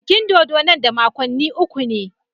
Bikin dodo nan da makonni uku ne.